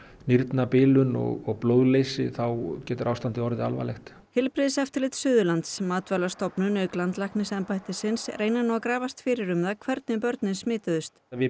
nýrnabilun og blóðleysi þá getur ástandið orðið alvarlegt heilbrigðiseftirlit Suðurlands Matvælastofnun auk landlæknisembættisins reyna nú að grafast fyrir um það hvernig börnin smituðust við